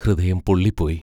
ഹൃദയം പൊള്ളിപ്പോയി.